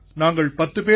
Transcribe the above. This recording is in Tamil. நாங்கள் பத்துப் பேர்